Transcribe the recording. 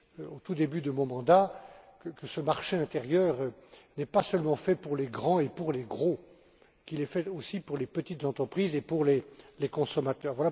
au tout début de mon mandat que ce marché intérieur n'est pas seulement fait pour les grands et les gros, mais qu'il est fait aussi pour les petites entreprises et pour les consommateurs.